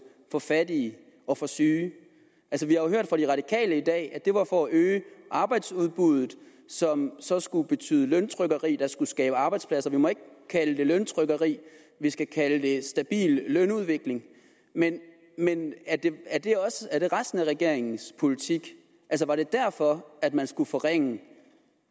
fra fattige og fra syge vi har hørt fra de radikale i dag at det var for at øge arbejdsudbuddet som så skulle betyde løntrykkeri der skulle skabe arbejdspladser vi må ikke kalde det løntrykkeri vi skal kalde det stabil lønudvikling men er det resten af regeringens politik var det derfor at man skulle forringe